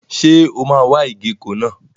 Ṣé o máa wa ìgéko náà?